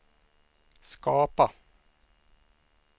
skapa